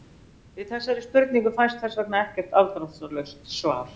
Við þessari spurningu fæst þess vegna ekki afdráttarlaust svar.